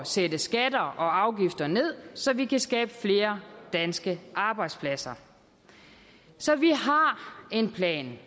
sætte skatter og afgifter ned så vi kan skabe flere danske arbejdspladser så vi har en plan